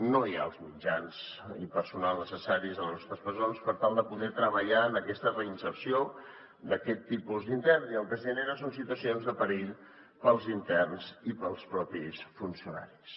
no hi ha els mitjans ni personal necessaris a les nostres presons per tal de poder treballar en aquesta reinserció d’aquest tipus d’intern i el que es genera són situacions de perill per als interns i per als propis funcionaris